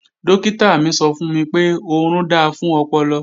Dọ́kítà mi sọ fún mi pé, orun da fún ọpọlọ